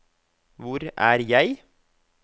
hvor er jeg